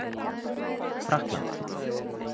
Frakkland